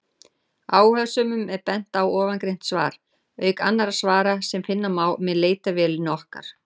Áhugasömum er bent á ofangreint svar, auk annarra svara sem finna má með leitarvélinni okkar.